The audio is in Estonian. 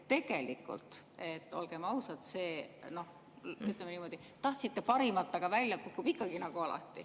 Tegelikult, ütleme niimoodi, et tahtsite parimat, aga välja kukub ikkagi nagu alati.